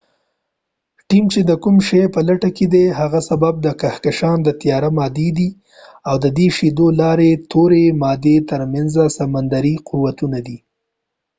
ټیم چې د کوم شي په لټه کې دی د هغې سبب د کهکشان د تیاره مادې او د شیدو د لارې تورې مادې تر منځ سمندري قوتونه دي